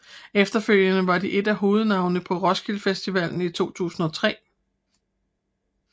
Efterfølgende var de et af hovednavnene på Roskilde Festivalen i 2003